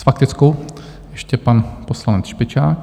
S faktickou ještě pan poslanec Špičák.